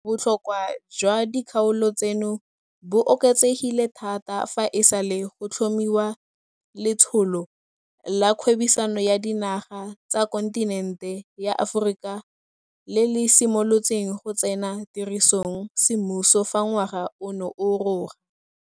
Botlhokwa jwa dikgaolo tseno bo oketsegile thata fa e sale go tlhomiwa Letsholo la Kgwebisano ya Dinaga tsa Kontinente ya Aforika le le simolotseng go tsena tirisong semmuso fa ngwaga ono o roga.